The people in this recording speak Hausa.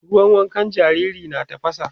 ruwan wankan jariri na tafasa